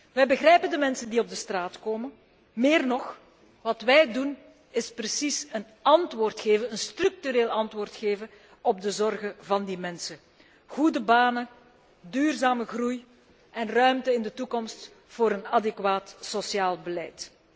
Wij begrijpen de mensen die de straat opgaan, meer nog, wat wij doen is precies een structureel antwoord geven op de zorgen van die mensen. Goede banen, duurzame groei en ruimte in de toekomst voor een adequaat sociaal beleid.